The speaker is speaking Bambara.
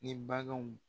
Ni baganw